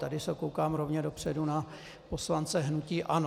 Tady se dívám rovně dopředu na poslance hnutí ANO.